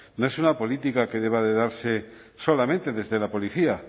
no es una política que deba de darse solamente desde la policía